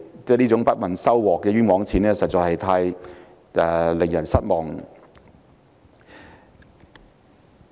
這種不問收穫的"冤枉錢"花得實在太令人失望。